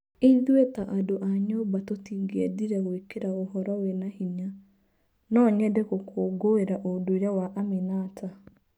Ithũĩ ta andũa nyũmba tũngĩendire gwĩkĩra ũhoro wĩna hinya. No nyende gũkũngũĩra ũndũire wa Aminata.